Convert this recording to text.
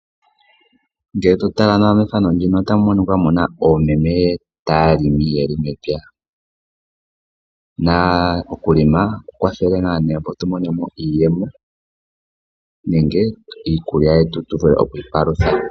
Ngele to tala nawa mefano muno omuna oomeme yeli yaali taya longo mepya. Na oku longa ohaku kwathele opo tu mone iiyemo nenge iikulya yetu tu vule okwi ipalutha.